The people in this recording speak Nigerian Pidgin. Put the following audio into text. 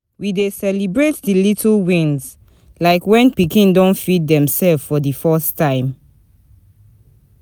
We dey celebrate di little wins, like when pikin don feed demself for the first time.